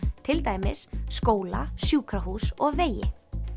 til dæmis skóla sjúkrahús og vegi